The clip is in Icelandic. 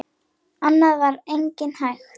Annað var eigi hægt.